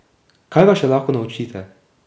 Kaj ga še lahko naučite?